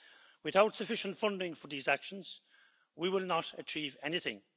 Without sufficient funding for these actions, we will not achieve anything.